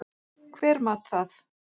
Hver mat það?